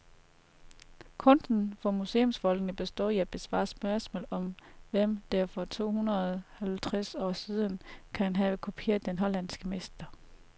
Kunsten for museumsfolkene består i at besvare spørgsmålet om, hvem der for tohundrede halvtreds år siden kan have kopieret den hollandske mester.